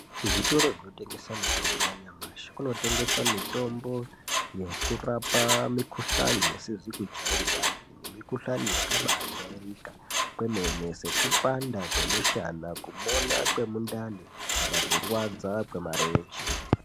Kuzvitoro zvinotengesa mithombo yanyamashi kunotengeswa mithombo yekurapa mikhuhlani isizi kujairikapi nemikhuhlani yakabaajairika kwemene sekupanda kwemishana, kumona kwemundani kana kurwadza kwemarenje.